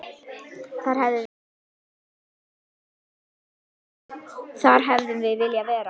Þar hefðum við viljað vera.